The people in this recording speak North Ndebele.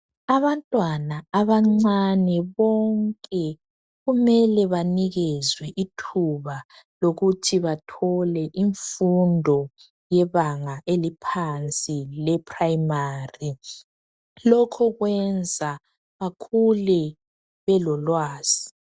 Abantwana abancane bonke kumele banikezwe ithuba lokuthi bathole imfundo yebanga eliphansi ye"primary "lokho kwenza bakhule belolwazi.